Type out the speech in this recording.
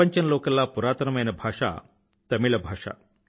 ప్రపంచంలోకెల్లా పురాతనమైన భాష తమిళ భాష